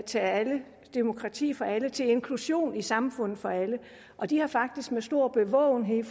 til alle og demokrati for alle til at inklusion i samfundet for alle og de har faktisk under stor bevågenhed